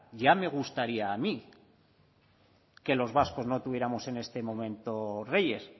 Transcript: ya me gustaría a mí que los vascos no tuviéramos en este momento reyes